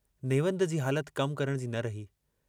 नेवंद जी हालत कम करण जी न रही।